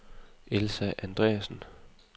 Elsa Andreasen